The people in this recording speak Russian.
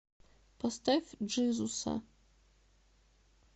поставь джизуса